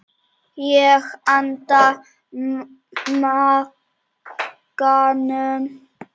Ég anda maganum snöggt inn.